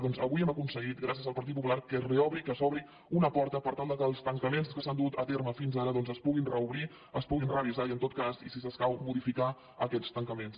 doncs avui hem aconseguit gràcies al partit popular que es reobri que s’obri una porta per tal que els tancaments que s’han dut a terme fins ara es puguin reobrir es puguin revisar i en tot cas i si escau modificar aquests tancaments